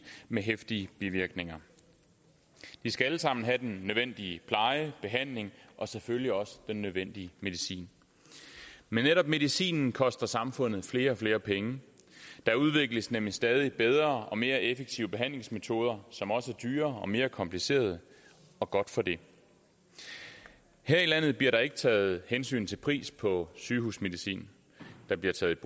med heftige bivirkninger de skal alle sammen have den nødvendige pleje og behandling og selvfølgelig også den nødvendige medicin men netop medicinen koster samfundet flere og flere penge der udvikles nemlig stadig bedre og mere effektive behandlingsmetoder som også er dyrere og mere komplicerede og godt for det her i landet bliver der ikke taget hensyn til pris på sygehusmedicin der bliver taget